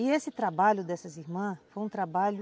E esse trabalho dessas irmãs foi um trabalho